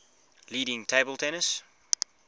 leading table tennis